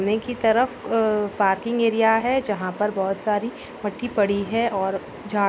ने की तरफ पार्किंग एरिया है जहाँ पर बोहोत सारी मट्टी पड़ी है और जार --